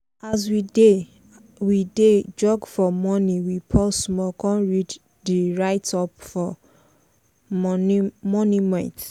as we dey we dey jog for morning we pause small con read di write-up for monument.